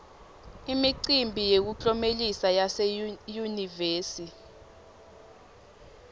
imicimbi yemiklomelo yase yunivesi